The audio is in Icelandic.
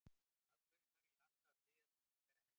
Af hverju þarf ég alltaf að biðja þig um að vera heima?